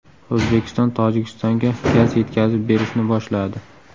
O‘zbekiston Tojikistonga gaz yetkazib berishni boshladi.